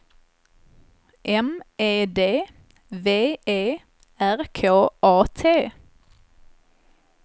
M E D V E R K A T